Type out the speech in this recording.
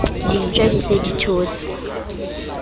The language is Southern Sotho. dintja di se di thotse